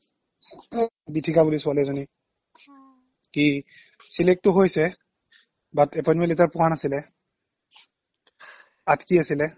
গীতিকা বুলি ছোৱালীএজনী কি select টো হৈছে but appointment letter পোৱা নাছিলে আটকি আছিলে